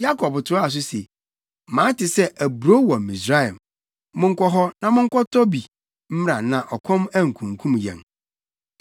Yakob toaa so se, “Mate sɛ aburow wɔ Misraim. Monkɔ hɔ, na monkɔtɔ bi mmra na ɔkɔm ankunkum yɛn.”